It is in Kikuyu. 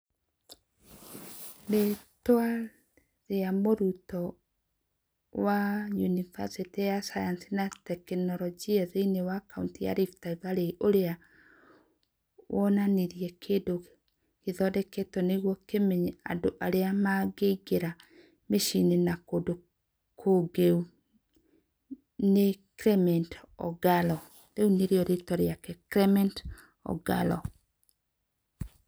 Rĩĩtwa rĩa mũrutwo wa yunibacĩtĩ ya Sayansi na Tekinoronjĩ (RVIST) thĩinĩ wa kaũnti ya Rift Valley, ũrĩa wonanirie kĩndũ gĩthondeketwo nĩguo kĩmenye andũ arĩa mangĩingĩra mĩciĩ-inĩ na kũndũ kũngĩũ nĩ Clement Ogalo, rĩu nĩ rĩo rĩĩtwa rĩake. Clement Ogalo.